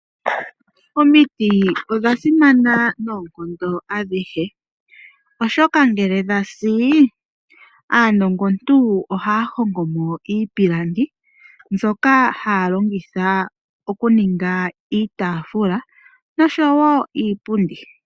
Omiti odha simana noonkondo adhihe oshoka ngele dhasi, aanongontu ohaya hongo mo iipilangi, mbyoka haya longitha okuninga iitaafula noshowo iipundi.